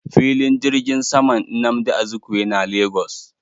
Filin jirgin saman nnamdi Azikiwe na Lagos.